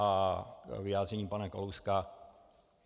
A k vyjádření pana Kalouska.